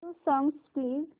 new songs please